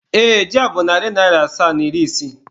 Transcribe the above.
ee, ji a bụ narị naira asaa na iri isii.